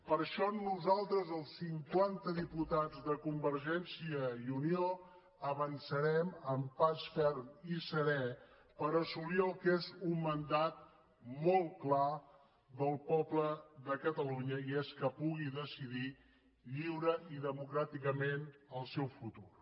per això nosaltres els cinquanta diputats de convergència i unió avançarem amb pas ferm i serè per assolir el que és un mandat molt clar del poble de catalunya i és que pugui decidir lliurement i democràticament el seu futur